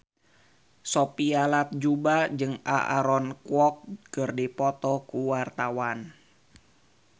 Sophia Latjuba jeung Aaron Kwok keur dipoto ku wartawan